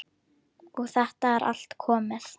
Og þetta er allt komið.